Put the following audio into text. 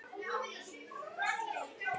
Beyging getur átt við